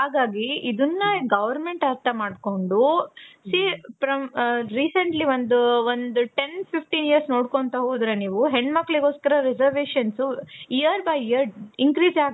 ಹಾಗಾಗಿ government ಅರ್ಥ ಮಾಡ್ಕೊಂಡು, see from recently ಒಂದು ten fifteen years ನೋಡ್ಕೊತ ಹೋದ್ರೆ ನೀವು ಹೆಣ್ಣು ಮಕ್ಕಳಿಗೋಸ್ಕರ reservations year by year increase